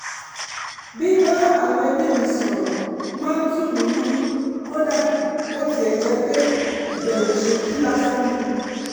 bíbá àwọn ẹbí mi sọ̀rọ̀ máa ń tù mí nínú kódà bó tiẹ̀ jẹ́ pé ìbẹ̀wò ṣókí lásán ni